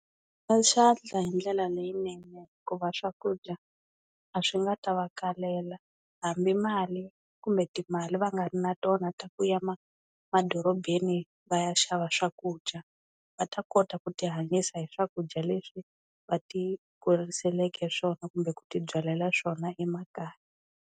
Byi hoxa xandla hindlela leyinene hikuva swakudya a swi nga ta va kalela, hambi mali kumbe timali va nga ri na tona ta ku ya ma madorobeni va ya xava swakudya. Va ta kota ku tihanyisa hi swakudya leswi va ti kuriseleke swona kumbe ku ti byalela swona emakaya.